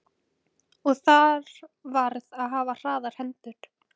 Og þar varð að hafa hraðar hendur.